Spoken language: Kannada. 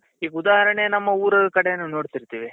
ಈಗ ಉದಾಹರಣೆ ನಮ್ಮ ಉರಲ್ ಕಡೆನೂ ನೋಡ್ತಿರ್ತೀವಿ